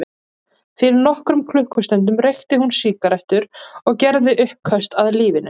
Fyrir nokkrum klukkustundum reykti hún sígarettur og gerði uppköst að lífinu.